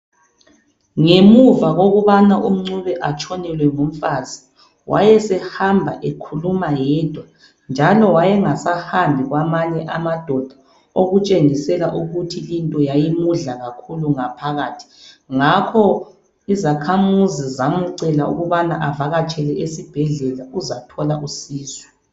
Ngemuva kokubana uNcube atshonelwe ngumfazi, wayesehamba ekhuluma yedwa njalo wayengasahambi kwamanye amadoda okutshengisela ukuthi linto leyi yayimudla ngaphakathi ngakho izakhamuzi zamcela ukubana avakatshele esibhedlela uzathola usizo.